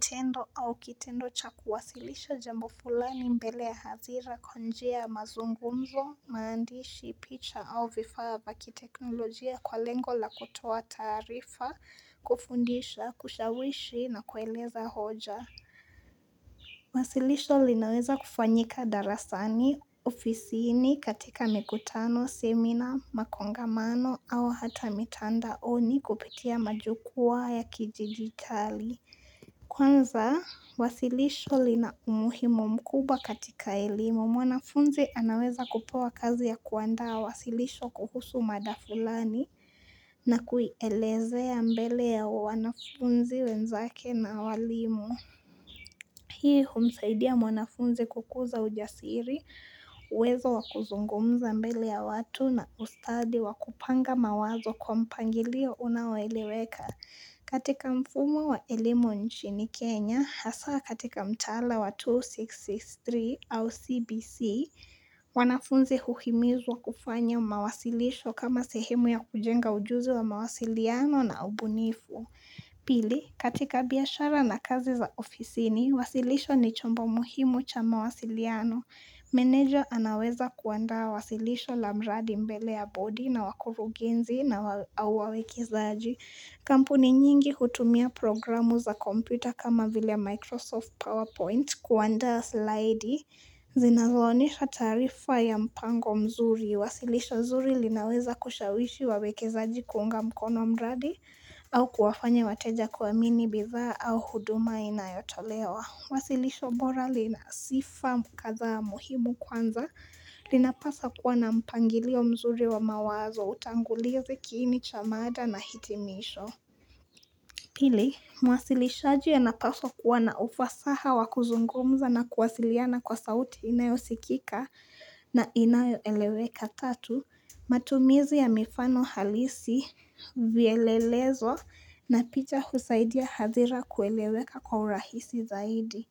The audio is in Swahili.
Tendo au kitendo cha kuwasilisha jambo fulani mbele ya hadhira kupitia mazungumzo, maandishi, picha au vifaa vya teknolojia kwa lengo la kutoa taarifa, kufundisha, kushawishi na kueleza hoja. Wasilisho linaweza kufanyika darasani, ofisini, katika mikutano, semina, makongamano au hata mitandaoni kupitia majukwaa ya kijamii. Kwanza, wasilisho lina umuhimu mkubwa katika elimu. Mwanafunzi anaweza kupewa kazi ya kuandaa wasilisho kuhusu mada fulani na kuielezea mbele ya wanafunzi wenzake na walimu. Hii humsaidia mwanafunzi kukuza ujasiri, uwezo wa kuzungumza mbele ya watu na ustadi wa kupanga mawazo kwa mpangilio unaoeleweka katika mfumo wa elimu nchini Kenya, hasa katika mtaala wa 2-6-6-3 au CBC, wanafunzi huhimizwa kufanya mawasilisho kama sehemu ya kujenga ujuzi wa mawasiliano na ubunifu. Pili, katika biashara na kazi za ofisini, wasilisho ni chombo muhimu cha mawasiliano. Meneja anaweza kuandaa wasilisho la mradi mbele ya bodi na wakurugenzi na wawekezaji. Kampuni nyingi hutumia programu za kompyuta kama vile Microsoft PowerPoint kuandaa slaidi. Zinazowasilisha taarifa ya mpango mzuri. Wasilisho zuri linaweza kuwashawishi wawekezaji kuunga mkono mradi au kuwafanya wateja kuamini bidhaa au huduma inayotolewa. Wasilisho bora lina sifa kadhaa muhimu kwanza. Linapaswa kuwa na mpangilio mzuri wa mawazo, utangulizi, kiini cha mada na hitimisho. Pili, mwasilishaji anapaswa kuwa na ufasaha wa kuzungumza na kuwasiliana kwa sauti inayosikika na inayoeleweka. Tatu, matumizi ya mifano halisi, vielelezo na picha husaidia hadhira kuelewa kwa urahisi zaidi.